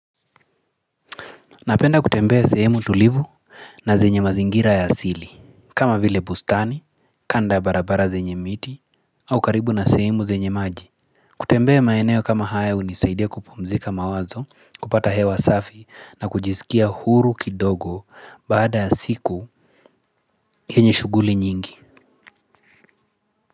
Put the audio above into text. Napenda kutembea sehemu tulivu na zenye mazingira ya asili kama vile bustani, kando ya barabara zenye miti au karibu na sehemu zenye maji. Kutembea maeneo kama haya hunisaidia kupumzika mawazo, kupata hewa safi na kujizikia huru kidogo baada ya siku yenye shughuli nyingi.